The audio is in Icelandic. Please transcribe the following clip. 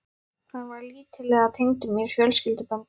Hann var lítillega tengdur mér fjölskylduböndum.